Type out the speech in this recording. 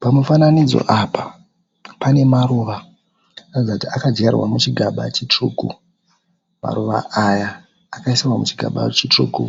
Pamufananidzo apa pane maruva ari kuratidza kuti akadyarwa muchigaba chitsvuku, maruva aya akaiswa muchigaba chitsvuku